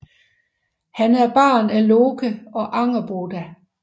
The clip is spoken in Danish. Han er barn af Loke og Angerboda